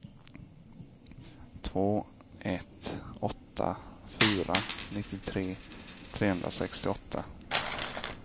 två ett åtta fyra nittiotre trehundrasextioåtta